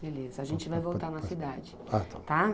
Beleza, a gente vai voltar na cidade. Ah tá. tá?